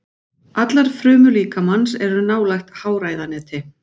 Allar frumur líkamans eru nálægt háræðaneti.